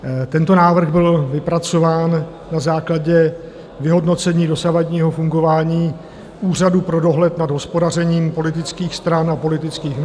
Tento návrh byl vypracován na základě vyhodnocení dosavadního fungování Úřadu pro dohled nad hospodařením politických stran a politických hnutí...